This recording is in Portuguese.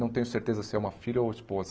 Não tenho certeza se é uma filha ou esposa.